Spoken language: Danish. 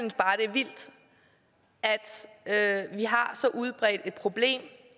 vildt at vi har så udbredt et problem